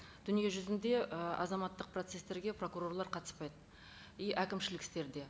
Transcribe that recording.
дүниежүзінде ы азаматтық процесстерге прокурорлар қатыспайды и әкімшілік істерде